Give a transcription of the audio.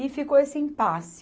E ficou esse impasse.